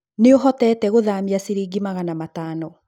Nĩ ũhotete gũthaamia ciringi magana matano.